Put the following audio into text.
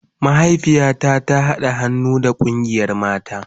Mahaifiya na ta hada han'nu da kungiyan mata.